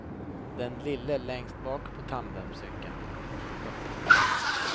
Den lille längst bak på tandemcykeln. punkt